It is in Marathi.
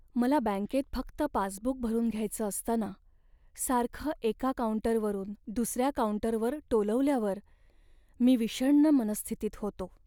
मला बँकेत फक्त पासबुक भरून घ्यायचं असताना सारखं एका काऊंटरवरून दुसऱ्या काऊंटरवर टोलवल्यावर मी विषण्ण मनःस्थितीत होतो.